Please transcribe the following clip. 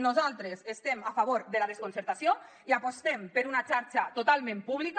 nosaltres estem a favor de la desconcertació i apostem per una xarxa totalment pública